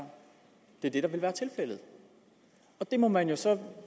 det der vil være tilfældet det må man jo så